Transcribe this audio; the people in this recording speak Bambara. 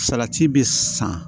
Salati bɛ san